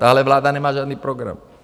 Tahle vláda nemá žádný program.